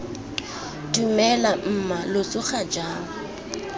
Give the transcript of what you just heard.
dumela mma lo tsoga jang